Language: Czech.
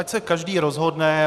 Ať se každý rozhodne.